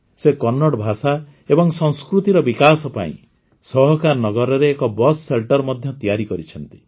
ସେ କନ୍ନଡ଼ ଭାଷା ଏବଂ ସଂସ୍କୃତିର ବିକାଶ ପାଇଁ ସହକାର ନଗରରେ ଏକ ବିୟୁଏସ ଶେଲଟର ମଧ୍ୟ ତିଆରି କରିଛନ୍ତି